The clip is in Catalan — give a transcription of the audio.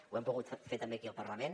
ho hem pogut fer també aquí al parlament